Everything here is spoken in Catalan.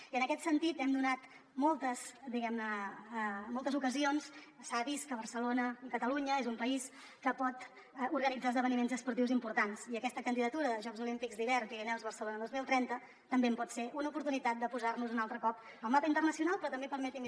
i en aquest sentit hem donat moltes diguem ne moltes ocasions s’ha vist que barcelona i catalunya és un país que pot organitzar esdeveniments esportius importants i aquesta candidatura de jocs olímpics d’hivern pirineus barcelona dos mil trenta també pot ser una oportunitat de posar nos un altre cop al mapa internacional pe rò també permeti’m